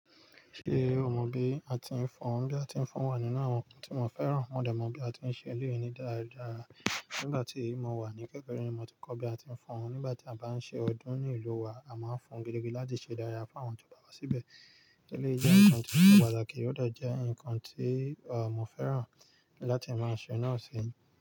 Ṣé o mọ bí a ti ń fọ́n? Bí a ti ń fọ́n wà nínú àwọn nǹkan tí mo fẹ́ràn. Mo de mo bí a ti ń ṣe ilé onídara. Nígbà tí mo wà ní kékeré ni mo ti kọ́ bí a ti ń fọ́n. Nígbà tí a bá ń ṣe ọdún ní ìlú wa, a máa ń fọ́n gidigidi láti ṣe dáadaa fún àwọn tó bá wá síbẹ̀. Eléyìí jẹ́ nǹkan tó se pàtàkì, ó de jẹ́ nǹkan tí, à, mo fẹ́ràn láti máa ṣe náà seyin.